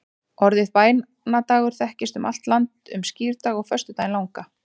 Orðið bænadagar þekkist um allt land um skírdag og föstudaginn langa.